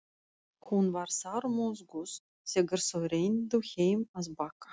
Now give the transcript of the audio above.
Hún var sármóðguð þegar þau renndu heim að Bakka.